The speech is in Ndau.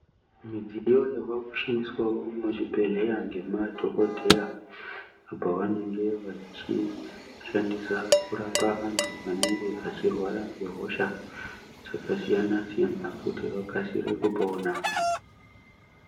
Midziyo yavakushandiswavo muzvibhedhleya ngemadhogodheya. Apa vanenge vachishandisa kurapa vantu anenge vachirwara ngehosha dzakasiyana-siyana, kuti vakasire kupona.